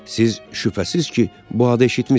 Siz şübhəsiz ki, bu adı eşitmisiz.